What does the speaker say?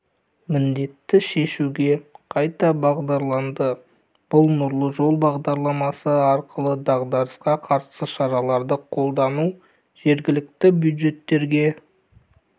міндетті шешуге қайта бағдарланды бұл нұрлы жол бағдарламасы арқылы дағдарысқа қарсы шараларды қолдау жергілікті бюджеттерге